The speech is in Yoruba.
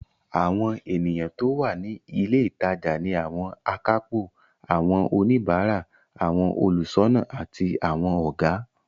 Àwọn ènìyàn tó wà ní ilé ìtajà ni àwọn akápò, àwọn oníbàárà, àwọn olùṣọ́nà àti àwọn Ọ̀gá